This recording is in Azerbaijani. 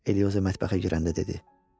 Elioza mətbəxə girəndə dedi.